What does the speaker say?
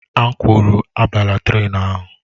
M kwuru, abala trén ahụ!